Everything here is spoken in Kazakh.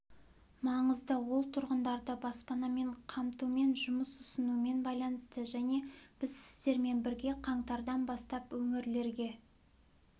маңызды ол тұрғындарды баспанамен қамтумен жұмыс ұсынумен байланысты және біз сіздермен бірге қаңтардан бастап өңірлерге